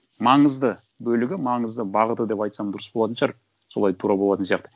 маңызды бөлігі маңызды бағыты деп айтсам дұрыс болатын шығар солай тура болатын сияқты